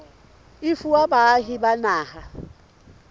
e fuwa baahi ba naha